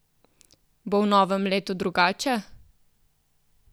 Bo v novem letu drugače?